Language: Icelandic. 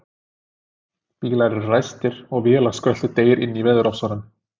Bílar eru ræstir og vélarskröltið deyr inní veðurofsanum.